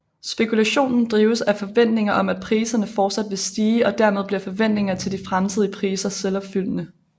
Spekulationen drives af forventninger om at priserne forsat vil stige og dermed bliver forventningerne til de fremtidige priser selvopfyldende